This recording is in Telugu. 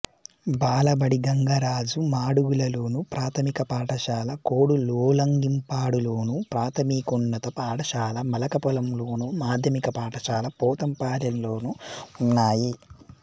బాలబడి గంగరాజు మాడుగులలోను ప్రాథమిక పాఠశాల కోడులోలంగిపాడులోను ప్రాథమికోన్నత పాఠశాల మలకపోలంలోను మాధ్యమిక పాఠశాల పోతంపాలెంలోనూ ఉన్నాయి